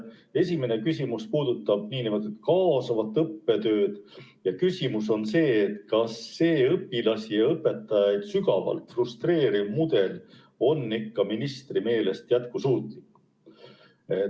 Esimene küsimus puudutab nn kaasavat õppetööd ja küsimus on, kas see õpilasi ja õpetajaid sügavalt frustreeriv mudel on ikka ministri meelest jätkusuutlik.